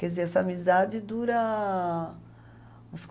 Quer dizer, essa amizade dura uns